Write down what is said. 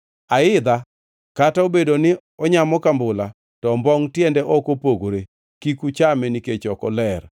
Aidha kata obedo ni onyamo kambula to ombongʼ tiende ok opogore, kik uchame nikech ok oler.